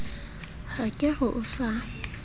ha ke re o sa